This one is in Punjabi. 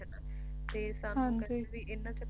d